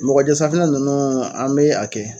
Mɔgɔjɛsafinɛ ninnu an bɛ a kɛ